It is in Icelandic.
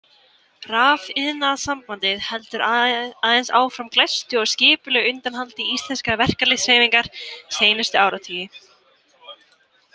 Rafiðnaðarsambandið heldur aðeins áfram glæstu og skipulegu undanhaldi íslenskrar verkalýðshreyfingar seinustu áratugi.